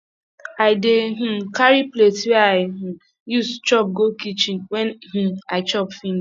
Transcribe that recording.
i dey um carry plate wey i um use chop go kichen wen um i chop finish